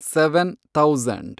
seven thousand